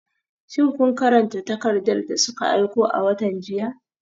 Shin kun karanta takardar da suka aiko a watan jiya?